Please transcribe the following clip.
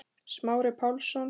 Smári Pálsson